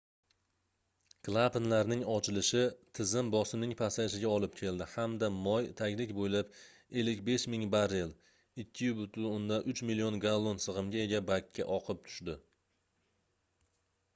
klapanlarning ochilishi tizim bosimning pasayishiga olib keldi hamda moy taglik bo'ylab 55 000 barrel 2,3 million gallon sig'imga ega bakka oqib tushdi